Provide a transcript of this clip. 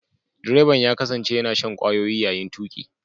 Direban ya kasance yana shan kwayoyi yayin tuki.